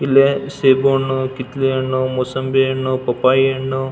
ಇಲ್ಲೇ ಸೇಬು ಹಣ್ಣು ಕಿತ್ತಲೆ ಹಣ್ಣು ಮೂಸಂಬಿ ಹಣ್ಣು ಪಪ್ಪಾಯಿ ಹಣ್ಣು --